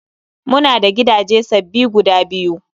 Mu na da gidaje sababbi guda biyu